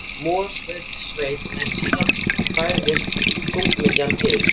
Mosfellssveit, en síðan færðist þungamiðjan til